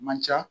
Man ca